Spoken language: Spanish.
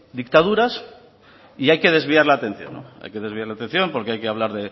dictaduras y hay que desviar la atención hay que desviar la atención porque hay que hablar